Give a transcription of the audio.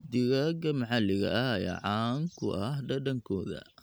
Digaagga maxalliga ah ayaa caan ku ah dhadhankooda.